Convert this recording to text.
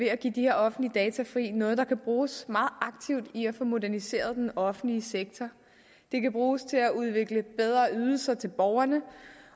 at give de her offentlige data fri noget der kan bruges meget aktivt i processen med at få moderniseret den offentlige sektor det kan bruges til at udvikle bedre ydelser til borgerne